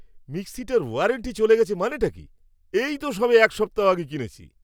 মিক্সিটার warranty চলে গেছে মানেটা কী? এই তো সবে এক সপ্তাহ আগে কিনেছি!